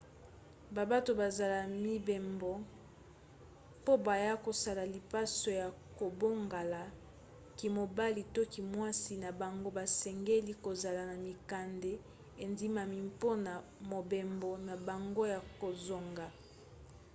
babato bazola mibembo po baya kosala lipaso ya kobongola kimobali to kimwasi na bango basengeli kozala na mikanda endimami mpona mobembo na bango ya kozonga